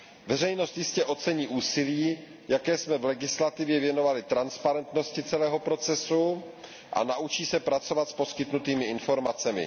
Veřejnost jistě ocení úsilí, jaké jsme v legislativě věnovali transparentnosti celého procesu, a naučí se pracovat s poskytnutými informacemi.